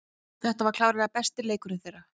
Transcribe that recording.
Þetta var klárlega besti leikurinn þeirra.